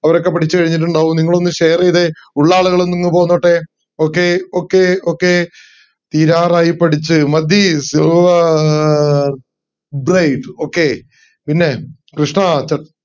അവരൊക്കെ പഠിച്ചു കഴിഞ്ഞിട്ടുണ്ടാവും നിങ്ങൾ ഒന്ന് share ചെയ്തേ ഉള്ള ആളൊന്നു ഇങ് പോന്നോട്ടെ okay okay okay തീരാറായി പഠിച്ച് മതി സൂവാ ആഹ് okay പിന്നെ കൃഷ്ണാ ചൻ